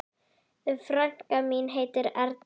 Frænka mín heitir Erla.